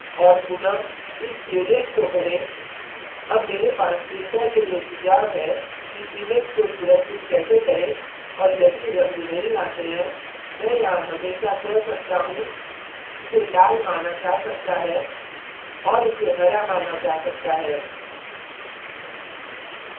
और पुनः इस gradient को भरें अब मेरे पास printer के लिए सुझाव है कि image को सुरक्षित कैसे करें और यदि रंग नहीं आते हैं मैं यहाँ हमेशा कह सकता how इसे लाल माना जा सकता है और इसे हरा माना जा सकता है